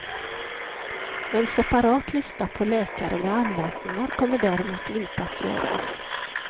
En separat lista på läkare med anmärkningar kommer däremot inte att göras.